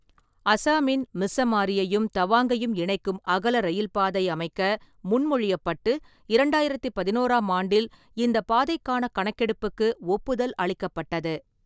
அசாமின் மிஸ்ஸமாரியையும் தவாங்கையும் இணைக்கும் அகல ரயில்பாதை அமைக்க முன்மொழியப்பட்டு, இரண்டாயிரத்து பதினொன்றாம் ஆண்டில் இந்த பாதைக்கான கணக்கெடுப்புக்கு ஒப்புதல் அளிக்கப்பட்டது.